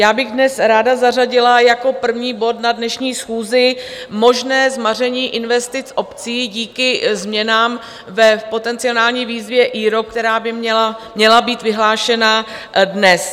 Já bych dnes ráda zařadila jako první bod na dnešní schůzi možné zmaření investic obcí díky změnám v potenciální výzvě IROP, která by měla být vyhlášena dnes.